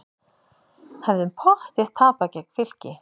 Hefðum pottþétt tapað gegn Fylki